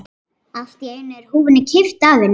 Allt í einu er húfunni kippt af henni!